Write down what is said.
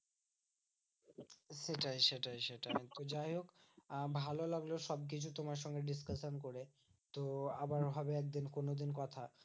সেটাই সেটাই সেটা তো যাইহোক আহ ভালো লাগলো সবকিছু তোমার সঙ্গে discussion করে। তো আবারও হবে একদিন কোনোদিন কথা।